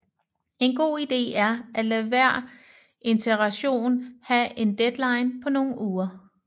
En god ide er at lade hver iteration have en deadline på nogle uger